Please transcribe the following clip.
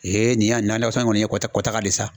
nin yan nakɔ sɛnɛ in kɔni ye kɔtaga de ye sa.